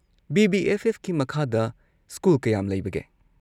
BB. ꯑꯦꯐ.ꯑꯦꯐ.ꯀꯤ ꯃꯈꯥꯗ school ꯀꯌꯥꯝ ꯂꯩꯕꯒꯦ?